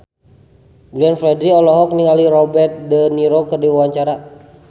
Glenn Fredly olohok ningali Robert de Niro keur diwawancara